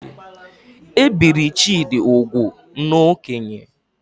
E biri Chidi ugwu n'okénye